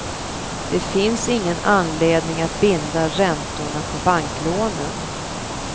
Det finns ingen anledning att binda räntorna på banklånen.